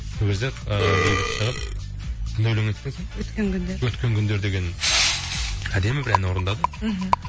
өзі ыыы бейбіт шығып қандай өлең айттың сен өткен күндер өткен күндер деген әдемі бір ән орындады мхм